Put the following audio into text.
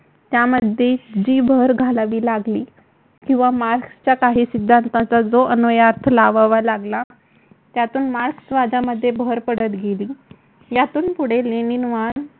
त्यामध्ये जी भर घालावी लागली किंवा मार्क्सच्या काही सिद्धांताचा जो अन्वयार्थ लावावा लागला. त्यातून मार्क्सवादामध्ये भर पडत गेली. यातून पुढे लेनिनवाद